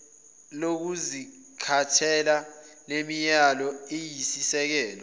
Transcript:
lokuzikhethela lemilayelo iyisisekelo